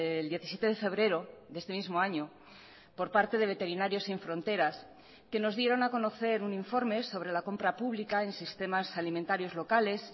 el diecisiete de febrero de este mismo año por parte de veterinarios sin fronteras que nos dieron a conocer un informe sobre la compra pública en sistemas alimentarios locales